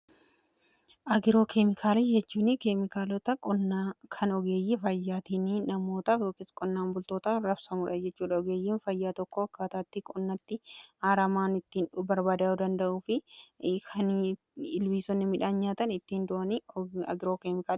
Agiroo keemikaala jechuun keemikaalota kan ogeeyyii fayyaatiin namoota qonnaan bultoota rabsamudha jechuudha. Ogeeyyiin fayyaa tokko akkaataatti qonnatti aaramaan ittiin barbadaa'u danda'uu fi ilbiisonni midhaan nyaatan ittiin du'anii agiroo keemikala.